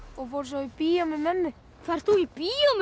og fór svo í bíó með mömmu ferð þú í bíó með